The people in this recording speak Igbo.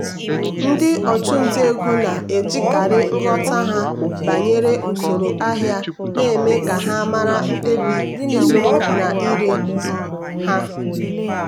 ndị ọchụnta ego na-ejikarị nghọta ha banyere usoro ahịa na-eme ka ha mara mkpebi ịzụrụ na ire um ha.